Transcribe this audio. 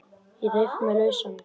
Ég reif mig lausan.